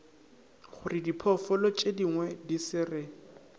gorediphoofolo tšedingwe di se re